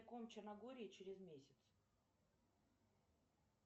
черногории через месяц